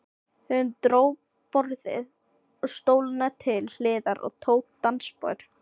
Hún dró borðið og stólana til hliðar og tók dansspor.